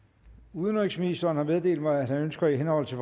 udenrigsministeren har meddelt mig at han ønsker i henhold til